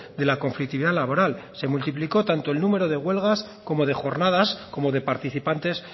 de la conflictividad laboral se multiplicó tanto el número de huelgas como de jornadas como de participantes